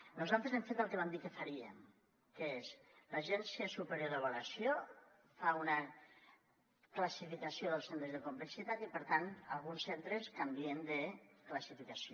nosaltres hem fet el que vam dir que faríem que és l’agència superior d’avaluació fa una classificació dels centres de complexitat i per tant alguns centres canvien de classificació